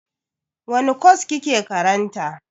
Wani kwas kike karanta?